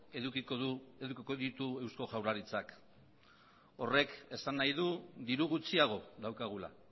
edukiko ditu eusko jaurlaritzak horrek esan nahi du diru gutxiago daukagula